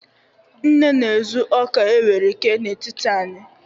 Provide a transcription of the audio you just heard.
nne na-ezu oka e were kee n'etiti anyi